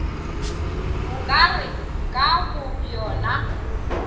bo ka re ka bobjona